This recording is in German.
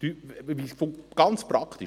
Wie funktioniert es ganz praktisch?